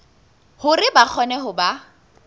hore ba kgone ho ba